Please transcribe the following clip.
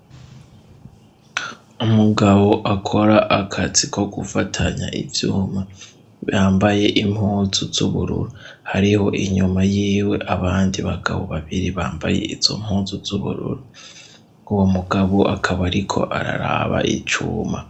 Umugabo akora akazi ko gufatanya ivyuma, yambaye impunzu z'ubururu. Hariho inyuma yiwe abandi bagabo babiri bambaye izo mpunzu z'ubururu, uwo mugabo akaba ariko araraba icuma.